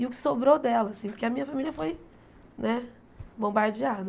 E o que sobrou dela, assim, porque a minha família foi, né, bombardeada.